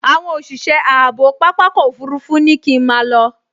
Àwọn òṣìṣẹ́ ààbò pápákọ̀ òfurufú ní kí n máa lọ